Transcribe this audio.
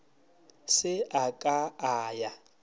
se a ka a ya